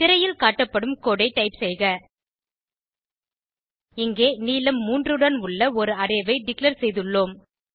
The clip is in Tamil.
திரையில் காட்டப்படும் கோடு ஐ டைப் செய்க இங்கே நீளம் 3 உடன் உள்ள ஒரு அரே ஐ டிக்ளேர் செய்துள்ளோம்